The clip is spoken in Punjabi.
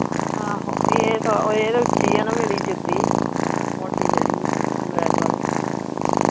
ਆਹੋ ਇਹ ਤਾਂ ਇਹ ਤਾਂ ਉੱਚੀ ਆ ਨਾ ਮੇਰੀ ਜੁੱਤੀ ਮੋਟੀ ਜਿਹੜੀ black ਵਾਲੀ।